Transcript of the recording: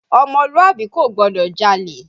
Ọmọlúàbí kò gbọ́dọ̀ jalè